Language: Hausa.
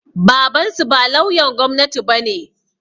Babansu ba lauyan gwamnati bane